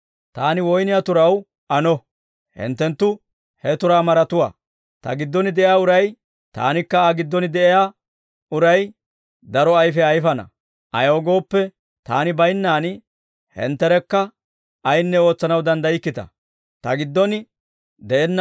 «Taani woyniyaa turaw ano; hinttenttu he turaa maratuwaa. Ta giddon de'iyaa uray, Taanikka Aa giddon de'iyaa uray, daro ayfiyaa ayfana; ayaw gooppe, Taani baynnaan hintterekka ayinne ootsanaw danddaykkita. Woyniyaa turay bare Ayfiyaana